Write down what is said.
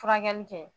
Furakɛli kɛ